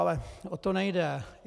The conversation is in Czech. Ale o to nejde.